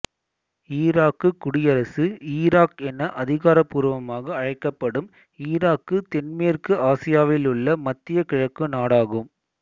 Iraq குடியரசு Iraq என அதிகாரபூர்வமாக அழைக்கப்படும் ஈராக்கு தென்மேற்கு ஆசியாவிலுள்ள மத்திய கிழக்கு நாடாகும்